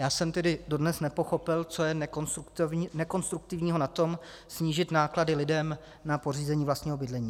Já jsem tedy dodnes nepochopil, co je nekonstruktivního na tom snížit náklady lidem na pořízení vlastního bydlení.